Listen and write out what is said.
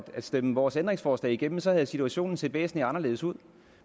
stemme vores ændringsforslag igennem så havde situationen set væsentligt anderledes ud